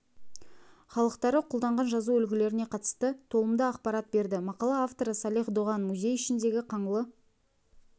халықтары қолданған жазу үлгілеріне қатысты толымды ақпарат берді мақала авторы салих доған музей ішіндегі қаңлы